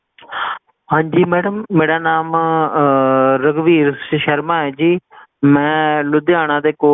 ਹਾਂਜੀ Madam ਮੇਰਾ ਨਾਮ ਅਹ ਰਘੁਬੀਰ ਸ਼ਰਮਾ ਹੈ ਜੀ ਮੈਂ ਲੁਧਿਆਣਾ ਦੇ